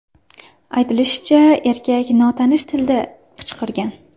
Aytilishicha, erkak notanish tilda qichqirgan.